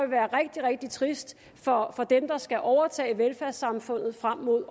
være rigtig rigtig trist for dem der skal overtage velfærdssamfundet frem mod